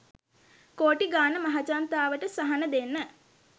කෝටි ගාන මහජනතාවට සහන දෙන්න